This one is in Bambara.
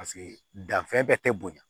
Paseke danfɛn bɛ tɛ bonya